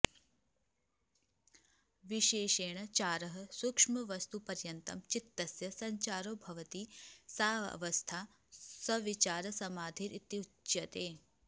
विशेषेण चारः सूक्ष्मवस्तुपर्यन्तं चित्तस्य सञ्चारो भवति सा अवस्था सविचारसमाधिरित्युच्यते